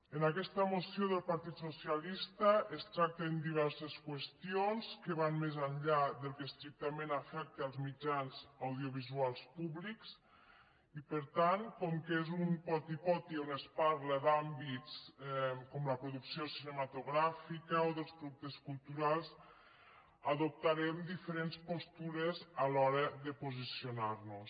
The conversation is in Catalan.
en aquesta moció del partit socialista es tracten diverses qüestions que van més enllà del que estrictament afecta els mitjans audiovisuals públics i per tant com que és un poti poti on es parla d’àmbits com la producció cinematogràfica o dels productes culturals adoptarem diferents postures a l’hora de posicionar nos